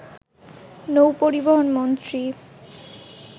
নৌ পরিবহন মন্ত্রী